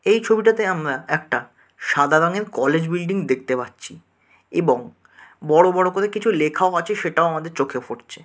এই ছবিটাতে আমরা একটা সাদা রঙের কলেজ বিল্ডিং দেখতে পাচ্ছি এবং বড়ো বড়ো করে কিছু লেখাও আছে সেটাও আমাদের চোখে ফুটছে।